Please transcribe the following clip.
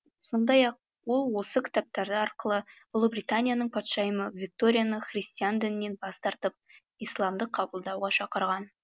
сондай ақ ол осы кітаптары арқылы ұлыбританияның патшайымы викторияны христиан дінінен бас тартып исламды қабылдауға шақырған